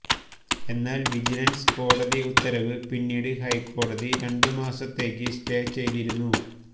എന്നാല് വിജിലന്സ് കോടതി ഉത്തരവ് പിന്നീട് ഹൈകോടതി രണ്ട് മാസത്തേക്ക് സ്റ്റേ ചെയ്തിരുന്നു